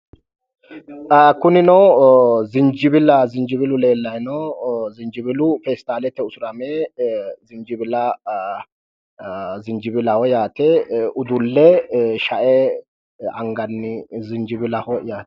kunino zinjibillu leellayi no zinjubillu peestaalete usurame zinjibillaho yaate udulle sha"e anganni zinjibillaho yaate